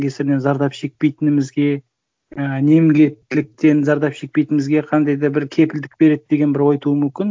кесірінен зардап шекпейтінімізге ы немкеттіліктен зардап шекпейтінімізге қандай да бір кепілдік береді деген ой тууы мүмкін